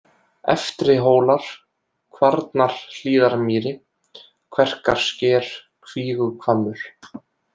Eftrihólar, Kvarnarhlíðarmýri, Kverkarsker, Kvíguhvammur